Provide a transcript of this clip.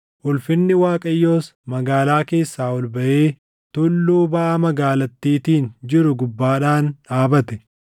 Ulfinni Waaqayyoos magaalaa keessaa ol baʼee tulluu baʼa magaalattiitiin jiru gubbaadhaan dhaabate.